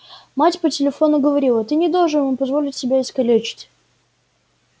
мать по телефону говорила ты не должен им позволить себя искалечить